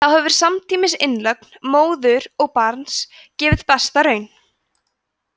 þá hefur samtímis innlögn móður og barns gefið besta raun